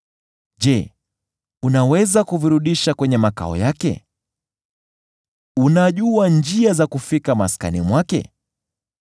Je, unaweza kuvirudisha kwenye makao yake? Unajua njia za kufika maskani mwake?